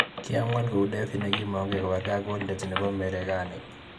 Kiamuat kou David nikimangei kobargei ak Goliat nebo Marekani.